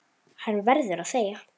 Hann verður að þegja.